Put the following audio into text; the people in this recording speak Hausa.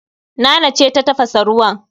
Nana ce ta tafasa ruwan